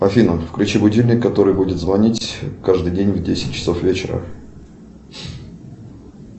афина включи будильник который будет звонить каждый день в десять часов вечера